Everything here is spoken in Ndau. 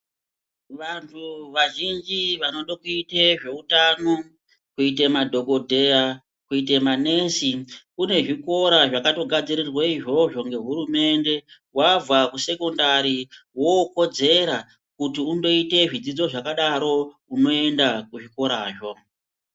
Vanhu vazhinji vanoda kuita zveutano kuita madhokodheya kuita manesi kune zvikora zvakato gadzirirwa izvozvo ngehurumende wabva kusekondari wokodzera kuti undoite zvakadaro unoenda kuzvikora zvo.